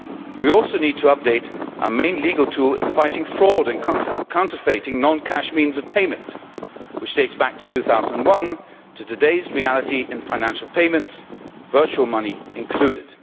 We also need to update our main legal tool in fighting fraud and counterfeiting non cash means of payment, which dates back to 2001, to today's reality in financial payments, virtual money included.